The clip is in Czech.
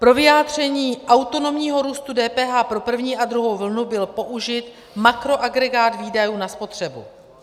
Pro vyjádření autonomního růstu DPH pro první a druhou vlnu byl použit makroagregát výdajů na spotřebu.